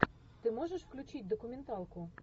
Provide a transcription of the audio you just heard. ты можешь включить документалку